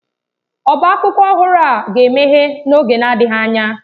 Ọbá akwụkwọ ọhụrụ a ga-emeghe n'oge na-adịghị anya.